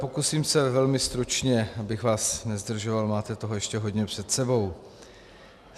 Pokusím se velmi stručně, abych vás nezdržoval, máte toho ještě hodně před sebou.